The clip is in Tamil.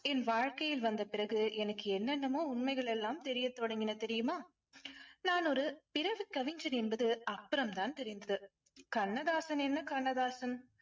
என் வாழ்க்கையில் வந்த பிறகு எனக்கு என்னென்னமோ உண்மைகள் எல்லாம் தெரிய தொடங்கின தெரியுமா? நான் ஒரு பிறவி கவிஞன் என்பது அப்புறம் தான் தெரிந்தது. கண்ணதாசன் என்ன கண்ணதாசன்?